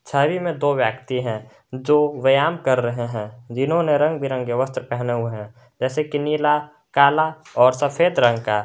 छवि में दो व्यक्ति है जो व्यायाम कर रहे है जिन्होंने रंग बिरंगे वस्त्र पहने हुए है जैसे कि नीला काला और सफेद रंग का।